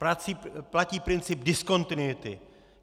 Platí princip diskontinuity.